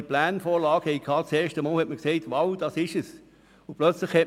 Beim ersten Blick auf die Pläne sind Sie überzeugt, dass es das Richtige ist.